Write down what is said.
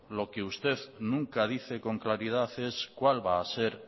lo que usted nunca dice con claridad es cuál va a ser